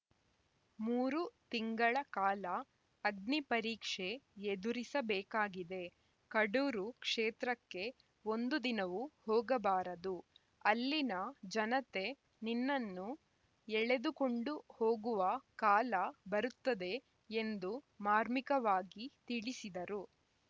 ಮೂರು ತಿಂಗಳ ಕಾಲ ಅಗ್ನಿಪರೀಕ್ಷೆ ಎದುರಿಸಬೇಕಾಗಿದೆ ಕಡೂರು ಕ್ಷೇತ್ರಕ್ಕೆ ಒಂದು ದಿನವೂ ಹೋಗಬಾರದು ಅಲ್ಲಿನ ಜನತೆ ನಿನ್ನನ್ನು ಎಳೆದುಕೊಂಡು ಹೋಗುವ ಕಾಲ ಬರುತ್ತದೆ ಎಂದು ಮಾರ್ಮಿಕವಾಗಿ ತಿಳಿಸಿದರು